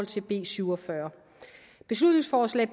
til b syv og fyrre beslutningsforslag